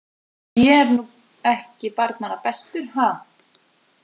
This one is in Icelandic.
Ég er nú ekki barnanna bestur, ha.